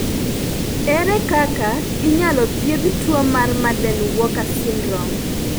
Ere kaka inyalo thiedh tuo mar Marden Walker syndrome?